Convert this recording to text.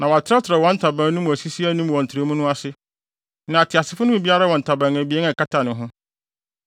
Na wɔatrɛtrɛw wɔn ntaban no mu asisi anim wɔ ntrɛwmu no ase, na ateasefo no mu biara wɔ ntaban abien a ɛkata ne ho.